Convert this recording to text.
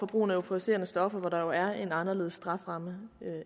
brugen af euforiserende stoffer hvor der jo er en anderledes strafferamme